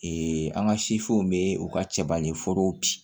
an ka bɛ u ka cɛba ɲɛforow bi